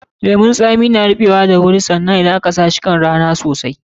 Lemun zaƙi na ruɓewa da wuri idan har aka sa shi kan rana sosai.